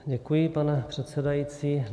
Děkuji, pane předsedající.